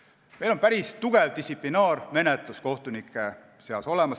Kohtunikel on päris tugev distsiplinaarmenetlus.